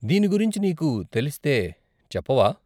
దీని గురించి నీకు తెలిస్తే చెప్పవా?